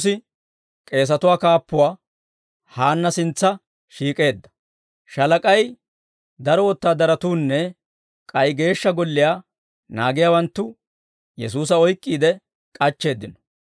Shaalak'ay, daro wotaadaratuunne k'ay Geeshsha Golliyaa naagiyaawanttu Yesuusa oyk'k'iide k'achcheeddino.